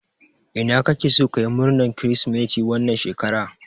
Ina kake so kayi murnan kiristimeti wannan shekara?